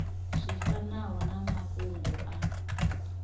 zwi fanaho na mafhungo a